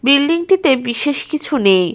Building -টিতে বিশেষ কিছু নেই।